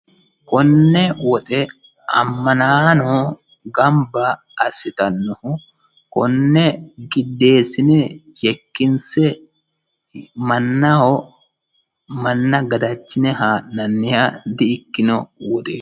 Konne woxe amanaano ganibba assitannohu konne gideenisine yekkinse mannaho manna gadachine haa'nanniha di'ikkino woxeeti.